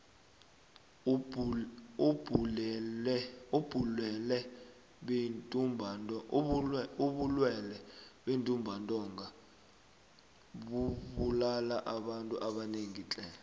ubulwele bentumbantonga bubulala abantu abanengi tle